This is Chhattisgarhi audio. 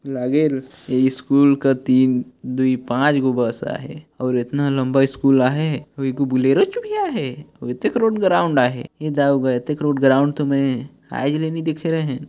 लागेल ए स्कूल का तीन दुई पाँच गो बस आहे और इतना लंबा स्कूल आहे अऊ एगो बुलेरोच भी आए हे अऊ एतेक रोड ग्राउन्ड आहे एद अऊ एतेक रोड ग्राउन्ड मै आज ल नई देखे रेहेव ।